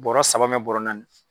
Bɔrɔ saba bɔra naani.